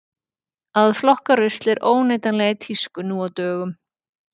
Að flokka rusl er óneitanlega í tísku nú á dögum.